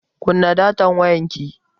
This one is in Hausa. Kunna datan wayanki.